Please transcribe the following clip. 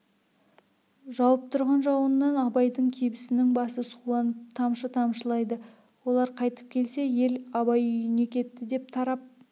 жауып тұрған жауыннан абайдың кебісінің басы суланып тамшы тамшылайды олар қайтып келсе ел абай үйіне кетті деп тарап